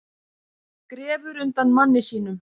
Grefur undan manni sínum